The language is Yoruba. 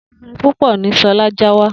Efinrin púpọ̀ ní Ṣọlá já wá.